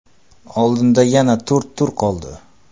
Oldinda yana to‘rt tur qoldi.